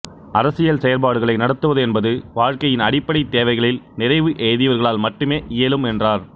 அரசியல் செயற்பாடுகளை நடத்துவது என்பது வாழ்க்கையின் அடிப்படைத் தேவைகளில் நிறைவு எய்தியவர்களால் மட்டுமே இயலும் என்றார்